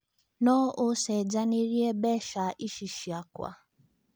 no ũcenjanĩrĩe mbeca ĩcĩ cĩakwa